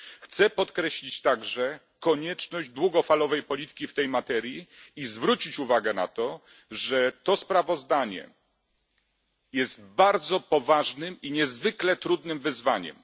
Chciałbym także podkreślić konieczność długofalowej polityki w tej materii i zwrócić uwagę, że to sprawozdanie jest bardzo poważnym i niezwykle trudnym wyzwaniem.